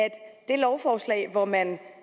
det lovforslag hvor man